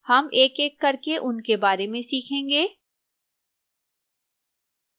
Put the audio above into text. हम एकएक करके उनके बारे में सीखेंगे